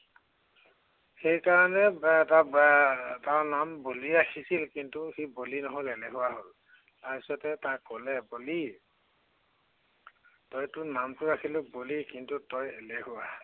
সেই কাৰনে এৰ তাৰ এৰ তাৰ নাম বলি ৰাখিছিল, কিন্তু সি বলি নহল এলেহুৱা হল। তাৰপিছতে তাক কলে, বলি তই তোৰ নামটো ৰাখিলি বলি, কিন্তু তই এলেহুৱা।